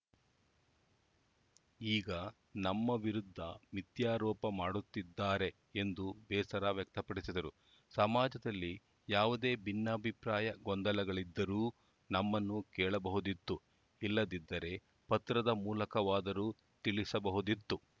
ಈಗ ನಮ್ಮ ವಿರುದ್ಧ ಮಿಥ್ಯಾರೋಪ ಮಾಡುತ್ತಿದ್ದಾರೆ ಎಂದು ಬೇಸರ ವ್ಯಕ್ತಪಡಿಸಿದರು ಸಮಾಜದಲ್ಲಿ ಯಾವುದೇ ಭಿನ್ನಾಭಿಪ್ರಾಯ ಗೊಂದಲಗಳಿದ್ದರೂ ನಮ್ಮನ್ನು ಕೇಳಬಹುದಿತ್ತು ಇಲ್ಲದಿದ್ದರೆ ಪತ್ರದ ಮೂಲಕವಾದರೂ ತಿಳಿಸಬಹುದಿತ್ತು